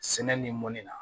Sɛnɛ ni mɔnni na